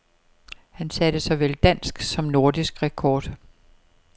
Han satte såvel dansk som nordisk rekord.